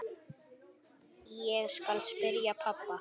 Ég skal spyrja pabba.